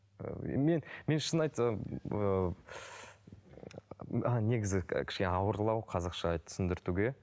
ыыы мен мен шын айтсам ыыы негізі ауырлау қазақша түсіндіртуге